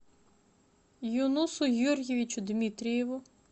юнусу юрьевичу дмитриеву